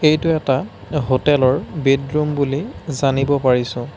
এইটো এটা হটেলৰ ৰ বেডৰুম বুলি জানিব পাৰিছোঁ।